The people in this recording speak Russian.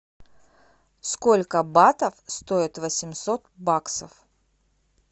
сколько батов стоит восемьсот баксов